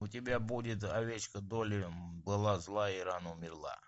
у тебя будет овечка долли была злая и рано умерла